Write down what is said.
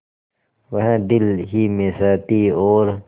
वह दिल ही में सहती और